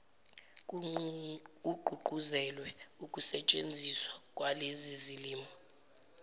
kugqugquzelwe ukusentshenziswa kwalezilimi